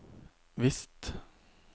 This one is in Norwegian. visst